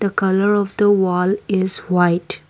colour of the wall is white.